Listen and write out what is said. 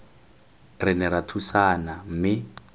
re ne ra thusana mme